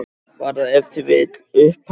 Var það ef til vill upphæðin?